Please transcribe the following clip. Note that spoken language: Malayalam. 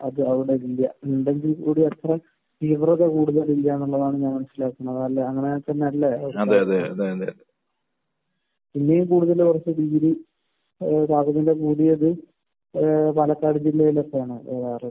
മുൻപൊന്നും ഇല്ലാ എന്നുള്ളതാണ് ഞാൻ മനസ്സിലാക്കുന്നത്. അല്ലെ? അങ്ങനെ തന്നെ അല്ലെ? പാലക്കാട് ജില്ലയാണെന്നാണ് തോന്നാറുള്ളത്.